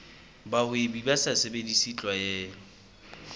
bahwebi ba sa sebedise tlwaelo